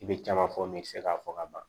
I bɛ caman fɔ min bɛ se k'a fɔ ka ban